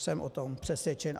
Jsem o tom přesvědčen.